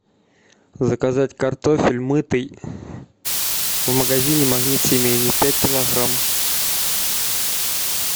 заказать картофель мытый в магазине магнит семейный пять килограмм